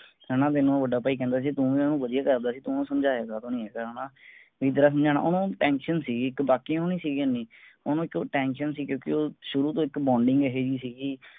ਹੈਨਾ ਤੈਂਨੂੰ ਵੱਡਾ ਬਾਈ ਕਹਿੰਦਾ ਸੀਗਾ ਤੂੰ ਵੀ ਓਹਨੂੰ ਵਧੀਆ ਕਰਦਾ ਸੀ ਤੂੰ ਸਮਝਾਇਆ ਕਾਤੋਂ ਨੀ ਹੈਗਾ ਹੈਨਾ ਵੀ ਤੇਰਾ ਸਮਝਾਣਾ ਓਹਨੂੰ tension ਸੀਗੀ ਇੱਕ ਬਾਕੀ ਓਹਨੂੰ ਨੀ ਸੀ ਇੰਨੀ ਓਹਨੂੰ ਇੱਕ tension ਸੀ ਕਿਉਂਕਿ ਉਹ ਸ਼ੁਰੂ ਤੋਂ ਇੱਕ bonding ਇਹੋ ਜਿਹੀ ਸੀਗੀ